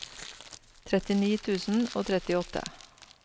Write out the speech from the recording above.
trettini tusen og trettiåtte